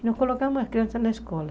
E nós colocamos as crianças na escola.